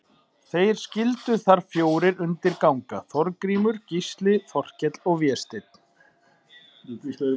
Þeir skyldu þar fjórir undir ganga, Þorgrímur, Gísli, Þorkell og Vésteinn.